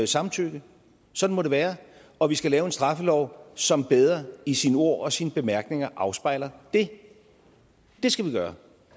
samtykke sådan må det være og vi skal lave en straffelov som bedre i sine ord og sine bemærkninger afspejler det det skal vi gøre